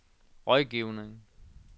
rådgivning